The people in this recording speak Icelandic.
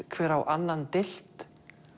hver á annan deilt